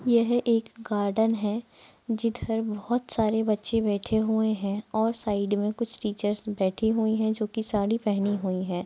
कुर्सी का कलर पिला है लाल है और यहाँ चर्च का कलर सफेद है और यहाँ आंटी की कलर --